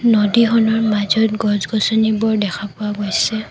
নদীখনৰ মাজত গছ-গছনিবোৰ দেখা পোৱা গৈছে।